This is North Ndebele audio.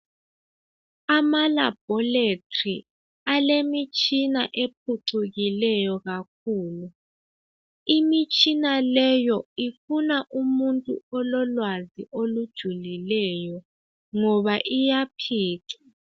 Ama laboratory alemitshina ephucukileyo kakhulu. Imitshina leyo ifuna umuntu ololwazi olujulileyo ngoba iyaphica.